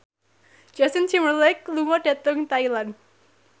Justin Timberlake lunga dhateng Thailand